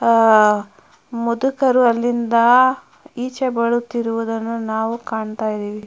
ಆಹ್ ಮುದುಕರು ಅಲ್ಲಿಂದಾ ಇಚೆ ಬರುವುತ್ತಿರುವುದನ್ನು ನಾವು ಕಾಣತ್ತಾ ಇದ್ದಿವಿ.